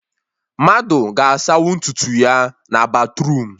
Mmadụ ga-asanwu ntutu ya na batruum